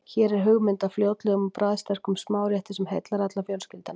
Hér er hugmynd að fljótlegum og bragðsterkum smárétti sem heillar alla í fjölskyldunni.